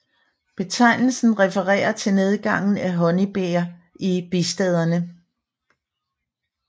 Betegnelsen refererer til nedgangen af honningbier i bistaderne